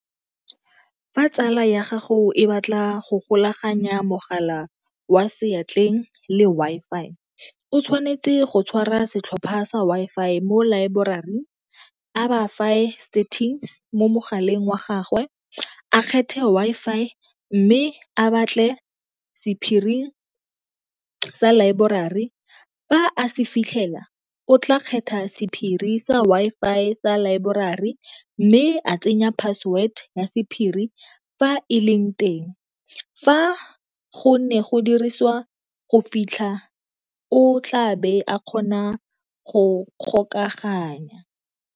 Fa tsala ya gago e batla go go golaganya mogala wa seatleng le Wi-Fi, o tshwanetse go tshwara setlhopha sa Wi-Fi mo laeborari, a ba settings mo mogaleng wa gagwe, a kgethe Wi-Fi mme a batle sephiri sa laeborari. Fa a se fitlhela o tla kgetha sephiri sa Wi-Fi sa laeborari mme a tsenya password ya sephiri fa e leng teng. Fa go ne go dirisiwa go fitlha o tlabe a kgona go kgokaganya.